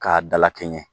K'a dalakɛɲɛ